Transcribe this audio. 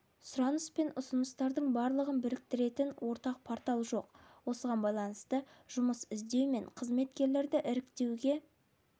сұраныс пен ұсыныстардың барлығын біріктіретін ортақ портал жоқ осыған байланысты жұмыс іздеу мен қызметкерлерді іріктеуге